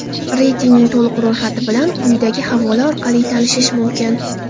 Reytingning to‘liq ro‘yxati bilan quyidagi havola orqali tanishish mumkin.